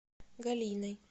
галиной